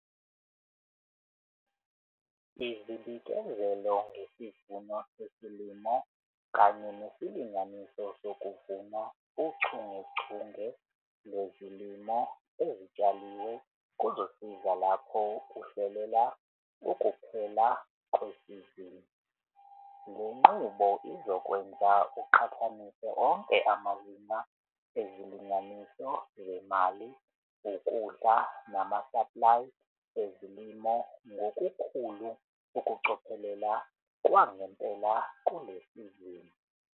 Izibikezelo ngesivuno sesilimo kanye nesilinganiso sokuvuna uchungechunge lwezilimo ezitshaliwe kuzosiza lapho uhlelela ukuphela kwesizini. Le nqubo izokwenza uqhathanise onke amazinga ezilinganiso zemali, ukudla nama-saplayi ezilimo ngokukhulu ukucophelela kwangempela kule sizini.